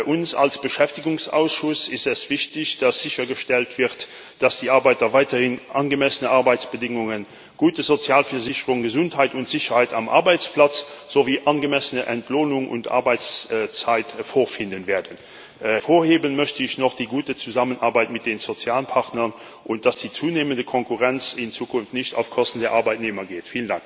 Uns als Beschäftigungsausschuss ist es wichtig, dass sichergestellt wird, dass die Arbeiter weiterhin angemessene Arbeitsbedingungen, gute Sozialversicherung, Gesundheit und Sicherheit am Arbeitsplatz sowie angemessene Entlohnung und Arbeitszeit vorfinden werden. Hervorheben möchte ich noch die gute Zusammenarbeit mit den Sozialpartnern und das Ziel, dass die zunehmende Konkurrenz in Zukunft nicht auf Kosten der Arbeitnehmer geht.